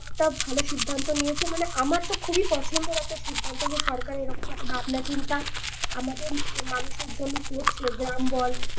একটা ভালো সিদ্ধান্ত নিয়েছে মানে আমার তো খুবই পছেন্দের একটা সিদ্ধান্ত যে সরকার এরকম একটা ভাবনা চিন্তা আমাদের মানুষের জন্য করছে। গ্রাম বল